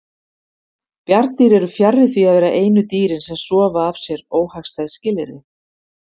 Bjarndýr eru fjarri því að vera einu dýrin sem sofa af sér óhagstæð skilyrði.